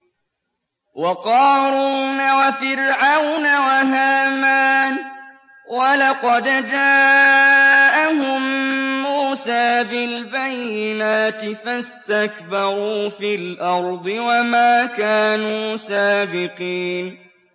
وَقَارُونَ وَفِرْعَوْنَ وَهَامَانَ ۖ وَلَقَدْ جَاءَهُم مُّوسَىٰ بِالْبَيِّنَاتِ فَاسْتَكْبَرُوا فِي الْأَرْضِ وَمَا كَانُوا سَابِقِينَ